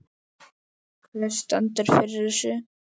Hver stendur fyrir þessu?